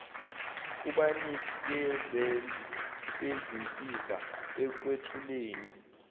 kubanikezeli bezinsiza ekwethuleni